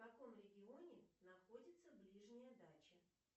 в каком регионе находится ближняя дача